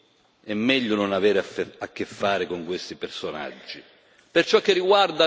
Per noi è meglio non avere a che fare con questi personaggi.